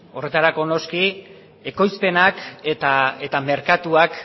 horretarako noski ekoizpenak eta merkatuak